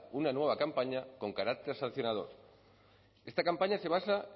una nueva campaña con carácter sancionador esta campaña se basa